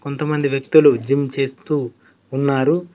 కొంతమంది వ్యక్తులు జిమ్ చేస్తూ ఉన్నారు.